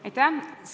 Aitäh!